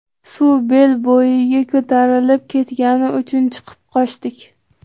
Suv bel bo‘yiga ko‘tarilib ketgani uchun chiqib qochdik”.